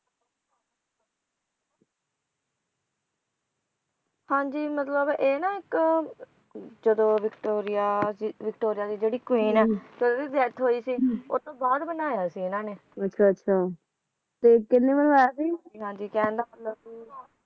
ਹਾਂ ਜੀ ਮਤਲਬ ਇਹ ਨਾ ਇਕ ਜਦੋਂ ਵਿਕਟੋਰੀਆ ਵਿਕਟੋਰੀਆ ਦੀ ਜਿਹੜੀ queen ਹੈ ਤੇ ਓਹਦੀ ਜਦੋਂ death ਹੋਈ ਸੀ ਓਹਤੋਂ ਬਾਅਦ ਬਣਾਇਆ ਸੀ ਇਹਨਾਂ ਨੇ ਹਾਂਜੀ ਕਹਿਣ ਦਾ ਮਤਲਬ ਸੀ